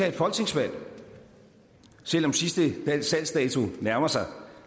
et folketingsvalg selv om sidste salgsdato nærmer sig